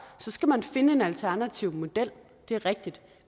så skal man finde en alternativ model det er rigtigt